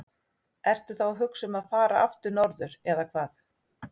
Ertu þá að hugsa um að fara aftur norður eða hvað?